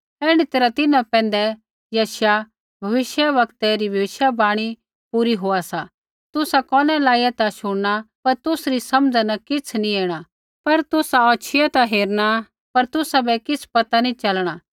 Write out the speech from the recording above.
ऐण्ढै तैरहै तिन्हां पैंधै यशायाह भविष्यवक्तै री भविष्यवाणी पूरी होआ सा तुसा कोनै लाइया ता शुणना पर तुसरी समझ़ा न किछ़ नी ऐणा होर तुसा औछियै ता हेरना पर तुसाबै किछ़ पता नी च़लणा